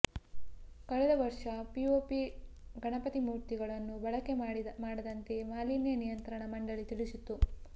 ಕಳೆದ ವರ್ಷ ಪಿಒಪಿ ಗಣಪತಿ ಮೂರ್ತಿಗಳನ್ನು ಬಳಕೆ ಮಾಡದಂತೆ ಮಾಲಿನ್ಯ ನಿಯಂತ್ರಣ ಮಂಡಳಿ ತಿಳಿಸಿತ್ತು